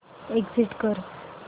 exit कर